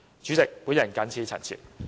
主席，我謹此陳辭。